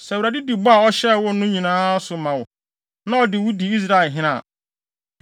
Sɛ Awurade di bɔ a ɔhyɛɛ wo no nyinaa so ma wo, na ɔde wo di Israelhene a,